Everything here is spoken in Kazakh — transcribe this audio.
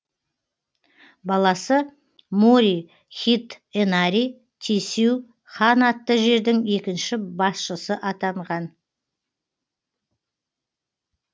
баласы мори хидэнари тесю хан атты жердің екінші басшысы атанған